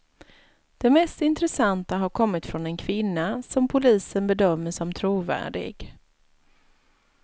Det mest intressanta har kommit från en kvinna, som polisen bedömer som trovärdig.